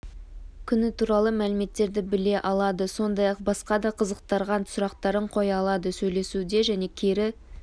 күні туралы мәліметтерді біле алады сондай-ақ басқа да қызықтырған сұрақтарын қоя алады сөйлесуді және кері